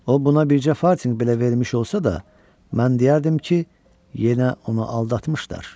O buna bircə fartinq belə vermiş olsa da, mən deyərdim ki, yenə onu aldatmışdılar.